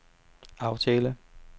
aftale